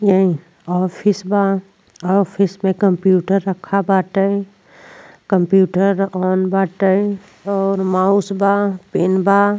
ये ऑफिस बा। ऑफिस में कंप्यूटर रखल बाटे। कंप्यूटर ऑन बाटे और माउस बा पेन बा।